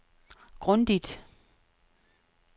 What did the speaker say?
grundigt